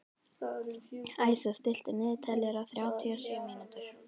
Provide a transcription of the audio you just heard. Æsa, stilltu niðurteljara á þrjátíu og sjö mínútur.